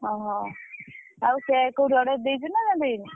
ଓହୋ! ଆଉ cake କୋଉଠି order ଦେଇଛୁ ନା ଦେଇନୁ?